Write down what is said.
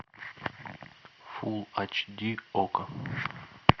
фул айч ди окко